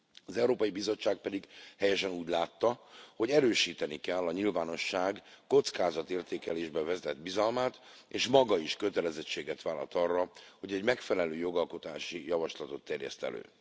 Az Európai Bizottság pedig helyesen úgy látta, hogy erősíteni kell a nyilvánosság kockázatértékelésbe vetett bizalmát, és maga is kötelezettséget vállalt arra, hogy egy megfelelő jogalkotási javaslatot terjeszt elő.